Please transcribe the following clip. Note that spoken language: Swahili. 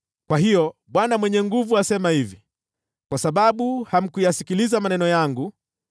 Kwa hiyo Bwana Mwenye Nguvu Zote asema hivi: “Kwa sababu hamkuyasikiliza maneno yangu,